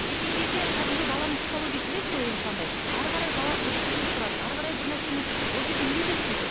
келген кезде кәдімгі баланың психологиясы білесіз ғой енді қандай әрі қарай бала ұрғысы келіп тұрады әрі қарай бір нәрсені ол жерде үйретеді сөйтіп